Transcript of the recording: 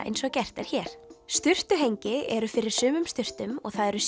eins og gert er hér sturtuhengi eru fyrir sumum sturtum og það eru